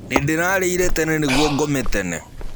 Nĩndĩrarĩĩre tene niguo ngome tene.